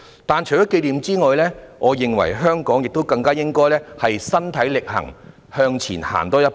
不過，除了紀念外，我認為香港更應該身體力行，向前多走一步。